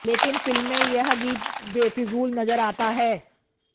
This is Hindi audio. लेकिन फिल्म में यह गीत बेफिजूल नजर आता है